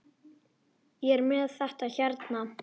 Ég er með þetta hérna.